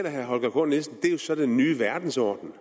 herre holger k nielsen det er jo så den nye verdensorden